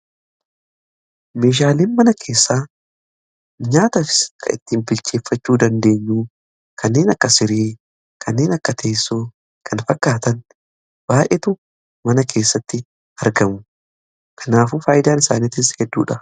Meeshaaleen mana keessaa nyaata kan ittiin bilcheeffachuu dandeenyuu kanneen akka siree, kanneen akka teessoo, kan fakkaatan baay'eetu mana keessatti argamu. Kanaafuu faayidaan isaaniitiis hedduudha.